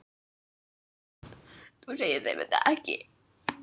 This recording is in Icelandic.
Þú segir þeim þetta ekki.